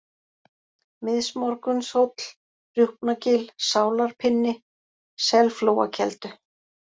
Miðsmorgunshóll, Rjúpnagil, Sálarpinni, Selflóakeldu